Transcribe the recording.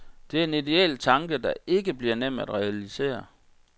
Det er en idéel tanke, der ikke bliver nem at realisere.